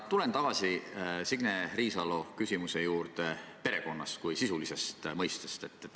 Ma tulen tagasi Signe Riisalo küsimuse juurde perekonna kui sisulise mõiste kohta.